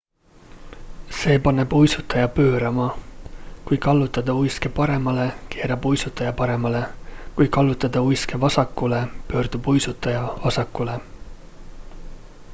see paneb uisutaja pöörama kui kallutada uiske paremale keerab uisutaja paremale kui kallutada uiske vasakule pöördub uisutaja vasakule